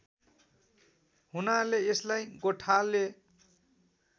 हुनाले यसलाई गोठाले